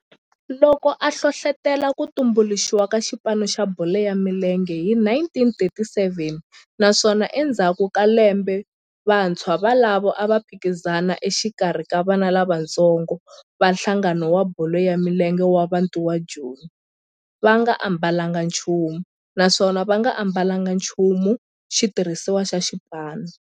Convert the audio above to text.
loko a hlohlotela ku tumbuluxiwa ka xipano xa bolo ya milenge hi 1937 naswona endzhaku ka lembe vantshwa volavo a va phikizana exikarhi ka vana lavatsongo va nhlangano wa bolo ya milenge wa Bantu wa Joni va nga ambalanga nchumu naswona va nga ambalanga nchumu xitirhisiwa xa xipano.